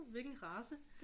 Hvilken race